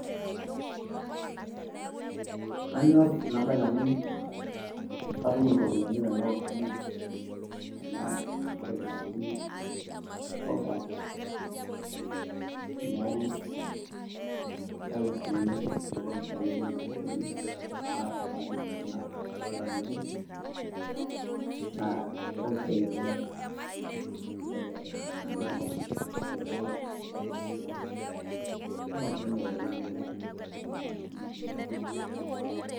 kanyor ena bae amu katum iropiyiani amu keeku kamir ena toki naji sorghum